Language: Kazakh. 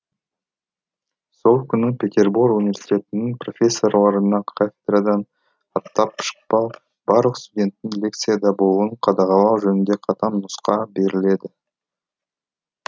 сол күні петербор университетінің прфессорларына кафедрадан аттап шықпау барлық студенттің лекцияда болуын қадағалау жөнінде қатаң нұсқау беріледі